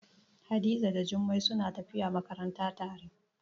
Hadiza da Jummai suna tafiya makaranta tare.